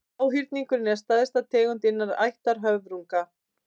háhyrningurinn er stærsta tegundin innan ættar höfrunga